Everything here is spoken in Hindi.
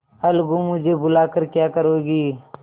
अलगूमुझे बुला कर क्या करोगी